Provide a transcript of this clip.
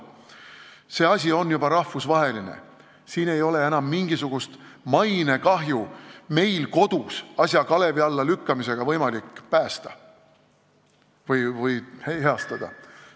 See lugu on juba rahvusvaheline ja enam ei ole võimalik mainekahjut meil kodus asja kalevi alla lükkamisega ära hoida või heastada.